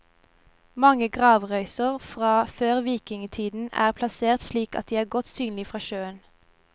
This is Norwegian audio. Mange gravrøyser fra før vikingtiden er plassert slik at de er godt synlige fra sjøen.